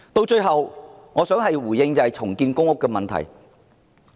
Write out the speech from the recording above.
最後，我想回應重建公屋的問題。